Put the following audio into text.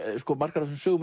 margar af þessum sögum